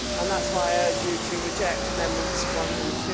That is why I urge you to reject amendments 1 and